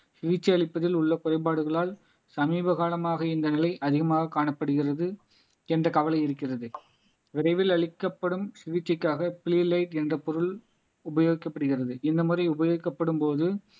சிகிச்சை அளிப்பதில் உள்ள குறைபாடுகளால் சமீப காலமாக இந்த நிலை அதிகமாக காணப்படுகிறது என்ற கவலை இருக்கிறது விரைவில் அளிக்கப்படும் சிகிச்சைக்காக என்ற பொருள் உபயோகிக்கப்படுகிறது இந்த முறை உபயோகிக்கப்படும்போது